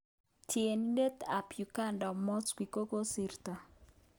Tienitet ap uganda Mowzey kokosirto.